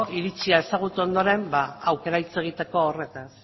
iritzia ezagutu ondoren ba aukera hitz egiteko horretaz